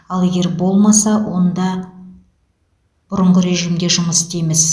ал егер болмаса онда бұрынғы режимде жұмыс істейміз